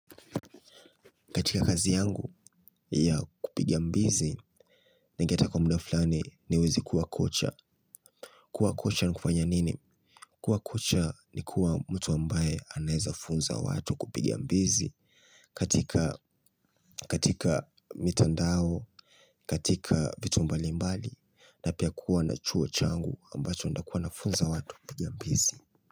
Katika kazi yangu, ya kupiga mbizi, ningeta kwa muda fulani niwezi kuwa kocha. Kuwa kocha ni kufanya nini? Kuwa kocha ni kuwa mtu ambaye anaeza funza watu kupiga mbizi. Katika mitandao, katika vitu mbali mbali, na pia kuwa na chuo changu ambacho ndakuwa nafunza watu kupiga mbizi.